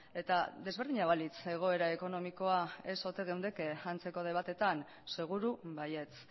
eta desberdina balitz egoera ekonomikoa ez ote geundeke antzeko debatetan seguru baietz